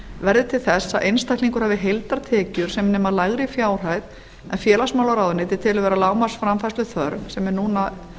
verði til þess að einstaklingur hafi heildartekjur sem nema lægri fjárhæð en félagsmálaráðuneytið telur vera lágmarksframfærsluþörf sem er núna